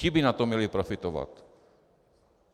Ti by na tom měli profitovat.